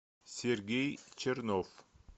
сергей чернов